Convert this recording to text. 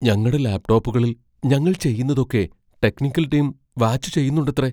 ഞങ്ങടെ ലാപ് ടോപ്പുകളിൽ ഞങ്ങൾ ചെയ്യുന്നതൊക്കെ ടെക്നിക്കൽ ടീം വാച്ച് ചെയ്യന്നുണ്ടത്രെ.